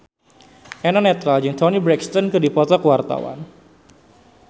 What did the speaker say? Eno Netral jeung Toni Brexton keur dipoto ku wartawan